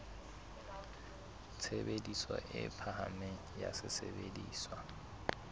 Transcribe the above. tshebediso e phahameng ya sesebediswa